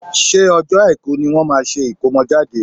ṣé ọjọ́ Àìkú ní wọ́n máa ṣe ìkómọjáde?